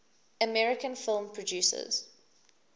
american film producers